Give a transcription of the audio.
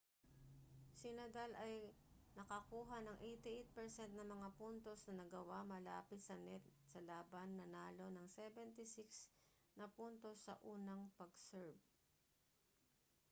si nadal ay nakakuha ng 88% ng mga puntos na nagawa malapit sa net sa laban nanalo ng 76 na puntos sa unang pag-serve